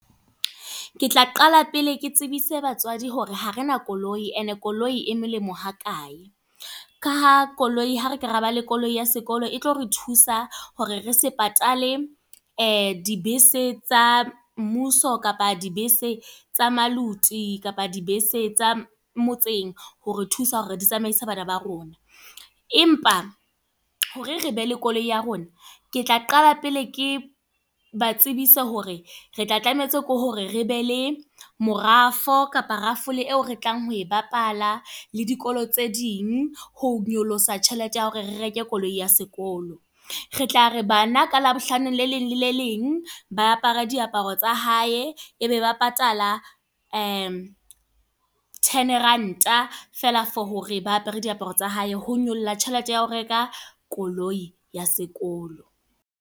Ke tla qala pele ke tsebise batswadi hore ha re na koloi. E ne koloi e molemo ha kae. Ka ha koloi, ha re ke raba le koloi ya sekolo e tlo re thusa hore re se patale, dibese tsa mmuso, kapa dibese tsa maluti, kapa dibese tsa motseng, hore thusa hore di tsamaise bana ba rona. Empa hore re be le koloi ya rona. Ke tla qala pele ke ba tsebise hore re tla tlametse ke hore re be le morafo kapa rafole eo re tlang ho e bapala le dikolo tse ding. Ho nyolosa tjhelete ya hore re reke koloi ya sekolo. Re tla re bana ka Labohlano le leng lele leng, ba apare diaparo tsa hae. E be ba patala ten rand feela for hore ba apere diaparo tsa hae. Ho nyolla tjhelete ya ho reka koloi ya sekolo.